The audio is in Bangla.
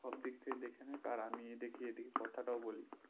সব দিক থেকে দেখেনে আর আমি দেখি এদিকে কথাটাও বলি